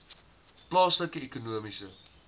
plaaslike ekonomiese